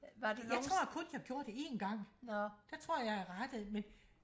jeg tror kun jeg gjorde det en gang der tror jeg jeg rettede men